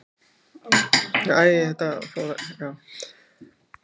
Hún hneigði sig fallega og heyrði ekki hverju hann svaraði fyrir hlátri stúlknanna í kring.